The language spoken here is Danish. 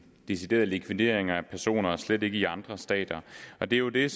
deciderede likvideringer af personer og slet ikke i andre stater og det er jo det